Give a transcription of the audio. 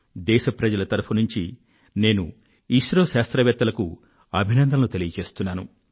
ఇస్రో శాస్త్రవేత్తలకు దేశ ప్రజలందరి పక్షాన నేను అభినందనలు తెలియజేస్తున్నాను